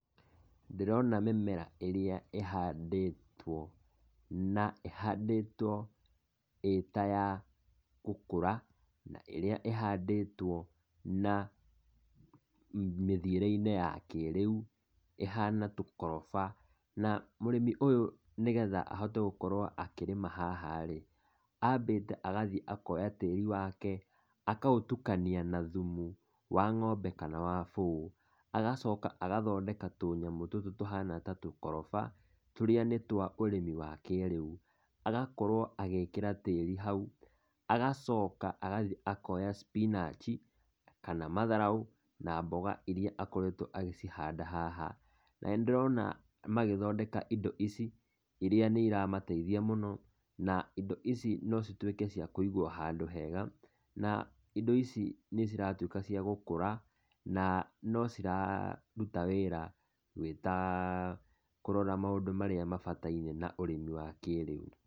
Ndĩrona mĩmera ĩrĩa ĩhandĩtwo na ĩhandĩtwo ĩ ta ya gũkũra na ĩrĩa ĩhandĩtwo na mĩthiĩre-inĩ ya kĩrĩu, ĩhana tũkoroba, na mũrĩmi ũyũ nĩgetha ahote gũkorwo akĩrĩma haha-rĩ, ambĩte agathiĩ akoya tĩri wake, akaũtukania na thumu wa ng'ombe kana wa bũũ, agacoka agathondeka tũnyamũ tũtũ tũhana ta tũkoroba, tũrĩa nĩ twa ũrĩmi wa kĩrĩu, agakorwo agĩkĩra tĩri hau, agacoka agathiĩ akoya spinach kana matharũ kana mboga iria akoretwo agĩcihanda haha. Na nĩ ndĩrona magĩcithondeka indo ici, iria nĩ iramateithia mũno, na indo ici nocituĩke cia kũigwo wega na indo ici nĩ ciratuĩka cia gũkũra na no ciraruta wĩra gũĩta, kũrora maũndũ marĩa mabatarainie na ũrĩmi wa kĩrĩu.